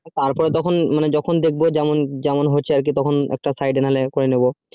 তার পরে তখন যখন দেখবো যেমন হচ্ছে আর কি তখন একটা না হলে side এ একটা করে নিবো